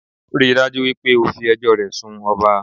Ríi dájú wípé o fi ẹjọ́ o rẹ̀ sun ọba